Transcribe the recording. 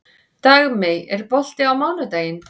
Dagmey, er bolti á mánudaginn?